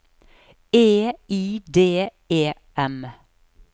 E I D E M